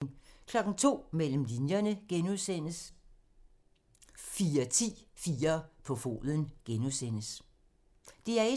DR1